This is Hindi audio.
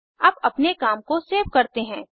अब अपने काम को सेव करते हैं